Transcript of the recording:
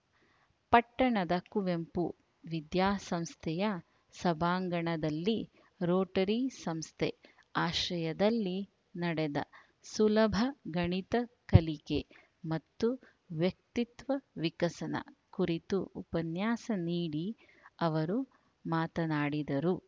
ಪಟ್ಟಣದ ಕುವೆಂಪು ವಿದ್ಯಾಸಂಸ್ಥೆಯ ಸಭಾಂಗಣದಲ್ಲಿ ರೋಟರಿ ಸಂಸ್ಥೆ ಆಶ್ರಯದಲ್ಲಿ ನಡೆದ ಸುಲಭ ಗಣಿತ ಕಲಿಕೆ ಮತ್ತು ವ್ಯಕ್ತಿತ್ವ ವಿಕಸನ ಕುರಿತು ಉಪನ್ಯಾಸ ನೀಡಿ ಅವರು ಮಾತನಾಡಿದರು